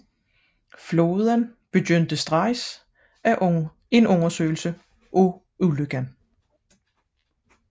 Flåden begyndte straks en undersøgelse af ulykken